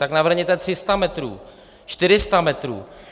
Tak navrhněte 300 metrů, 400 metrů.